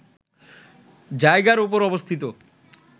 জায়গার ওপর অবস্থিত